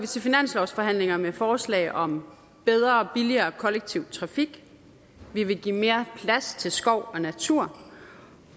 til finanslovsforhandlingerne med forslag om bedre og billigere kollektiv trafik vi vil give mere plads til skov og natur